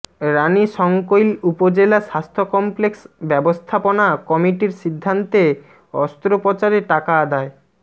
রানীশংকৈল উপজেলা স্বাস্থ্য কমপ্লেক্স ব্যবস্থাপনা কমিটির সিদ্ধান্তে অস্ত্রোপচারে টাকা আদায়